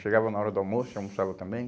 Chegava na hora do almoço e almoçava também.